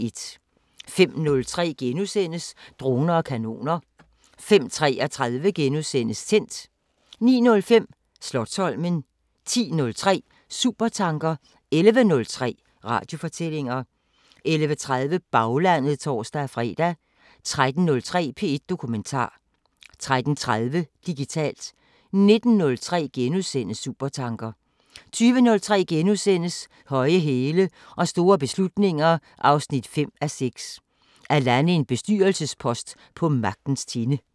05:03: Droner og kanoner * 05:33: Tændt * 09:05: Slotsholmen 10:03: Supertanker 11:03: Radiofortællinger 11:30: Baglandet (tor-fre) 13:03: P1 Dokumentar 13:30: Digitalt 19:03: Supertanker * 20:03: Høje hæle og store beslutninger 5:6 – At lande en bestyrelsespost på magtens tinde *